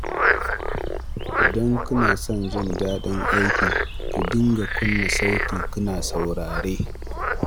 Idan kina son jin daɗin aiki, ki dinga kunna sauti kina saurare